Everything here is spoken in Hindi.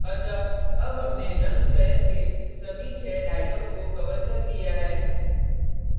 अतः अब हम रंग चयन के सभी छः dialogs को colour कर लिया है